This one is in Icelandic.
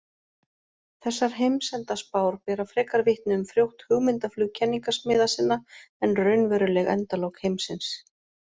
Þessar heimsendaspár bera frekar vitni um frjótt hugmyndaflug kenningasmiða sinna en raunveruleg endalok heimsins.